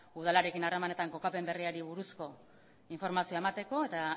udalarekin harremanetan kokapen berriari buruzko informazioa emateko eta